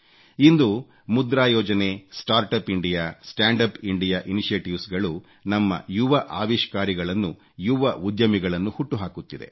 ಇಂದು ಮುದ್ರಾ ಯೋಜನೆ start up India stand up India initiatives ಗಳು ನಮ್ಮ ಯುವ ಅವಿಷ್ಕಾರಿಗಳನ್ನು ಯುವ ಉದ್ಯಮಿಗಳನ್ನು ಹುಟ್ಟು ಹಾಕುತ್ತಿದೆ